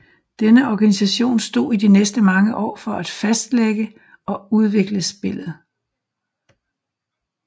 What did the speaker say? Denne organisation stod i de næste mange år for at fastlægge og udvikle spillet